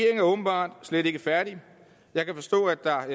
er åbenbart slet ikke færdig jeg kan forstå at der